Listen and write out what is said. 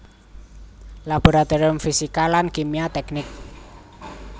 Laboratorium Fisika lan Kimia Teknik